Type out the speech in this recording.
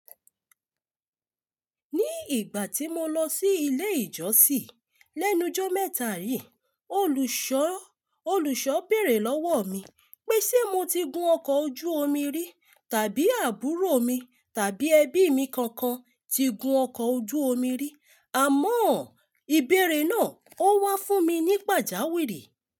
Ní ìgbà tí mo lọ sí ilé ìjọsìn lẹ́nu jọ́ mẹ́ta yí, olùṣọ́, olùṣọ́ béèrè lọ́wọ́ mi pé ṣe mo ti gun ọkọ̀ ojú omi rí tàbí àbúrò mi tàbí ẹbí mi kankan ti gun ọkọ̀ ojú omi rí. Àmọ́ ìbéèrè náà ó wá fún mi ní pàjáwìrì.